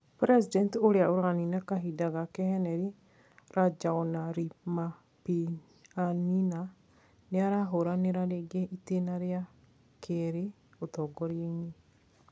President uria uranina kahinda gake Henry Rajaonarimampianina niarahuranira ringi itena ria kiri ũtongoriaini.